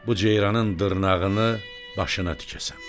Bu ceyranın dırnağını başına tikəsən.”